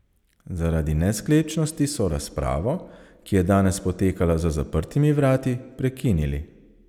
Zaradi nesklepčnosti so razpravo, ki je danes potekala za zaprtimi vrati, prekinili.